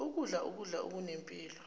ukudla ukudla okunempilo